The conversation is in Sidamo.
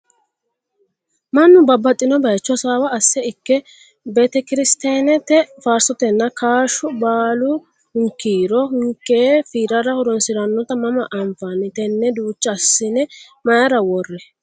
Mannu babbaxino bayiicho hasaawa asse ikko betekirtiyanete faarsoteno ka"ashu baalu hunkiiro hunkee fiirara horonsiranotta mama anfanni? Tenne duucha assine mayiira worri?